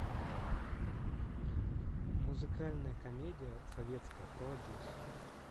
музыкальная комедия советская про одессу